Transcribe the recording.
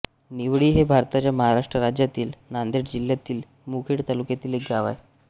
निवळी हे भारताच्या महाराष्ट्र राज्यातील नांदेड जिल्ह्यातील मुखेड तालुक्यातील एक गाव आहे